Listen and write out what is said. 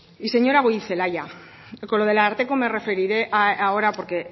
y señora goirizelaia con lo del ararteko me referiré ahora porque